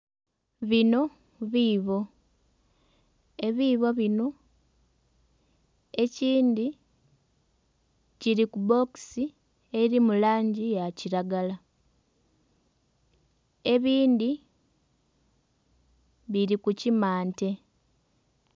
Bino biibo. Ebiibo bino ekindhi kili ku bbokisi eli mu langi ya kilagala. Ebindhi bili ku kimante.